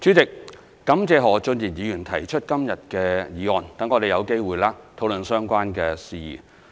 主席，我感謝何俊賢議員今天提出的議案，讓我們有機會討論相關事宜。